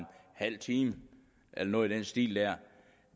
halv time eller noget i den stil der